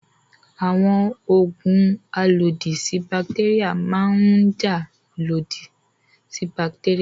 Àwọn òògùn alòdì sí bàtéríà máa ń jà lòdì sí bàtéríà.